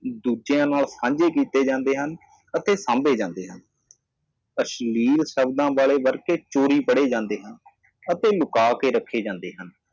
ਦੂਜਿਆਂ ਨੂੰ ਵੀ ਦਿਖਾਏ ਜਾਂਦੇ ਹਨ ਅਤੇ ਸੰਭਾਲੇ ਜਾਂਦੇ ਹਨ ਅਸ਼ਲੀਲ ਸ਼ਬਦ ਚੋਰੀ ਹੋ ਜਾਂਦੇ ਹਨ ਅਤੇ ਲੁਕਾ ਕੇ ਰੱਖਿਆ